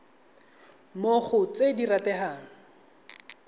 mo go tse di rategang